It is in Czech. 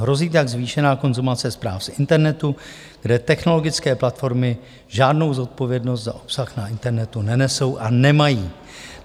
Hrozí tak zvýšená konzumace zpráv z internetu, kde technologické platformy žádnou zodpovědnost za obsah na internetu nenesou a nemají.